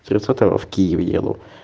тридцатого в киев еду